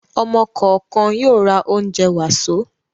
Ọ̀mọ kọ̀ọ̀kan yóò ra oúnjẹ wàsó.